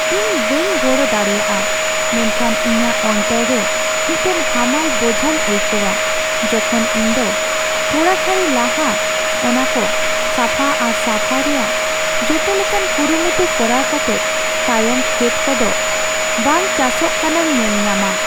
ᱤᱧ ᱵᱟᱹᱧ ᱜᱚᱲᱚ ᱫᱟᱲᱮᱭᱟᱜᱼᱟ ᱢᱮᱱᱠᱷᱟᱱ ᱤᱧᱟᱹᱜ ᱚᱱᱛᱚᱨ ᱨᱮ ᱢᱤᱫᱴᱟᱝ ᱦᱟᱢᱟᱞ ᱵᱚᱡᱷᱟᱧ ᱟᱹᱭᱠᱟᱹᱣᱟ ᱡᱚᱠᱷᱚᱱ ᱤᱧ ᱫᱚ ᱛᱷᱚᱲᱟ ᱜᱷᱟᱹᱲᱤ ᱞᱟᱦᱟ ᱚᱱᱟ ᱠᱚ ᱥᱟᱯᱷᱟ ᱟᱨ ᱥᱟᱯᱷᱟᱭ ᱨᱮᱭᱟᱜ ᱡᱚᱛᱚ ᱞᱮᱠᱟᱱ ᱠᱩᱨᱩᱢᱩᱴᱩ ᱠᱚᱨᱟᱣ ᱠᱟᱛᱮᱫ ᱛᱟᱭᱚᱢ ᱠᱷᱮᱛ ᱠᱚᱫᱚ ᱵᱮᱝ ᱪᱟᱥᱚᱜ ᱠᱟᱱᱟᱧ ᱧᱮᱞ ᱧᱟᱢᱟ ᱾